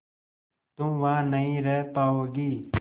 तुम वहां नहीं रह पाओगी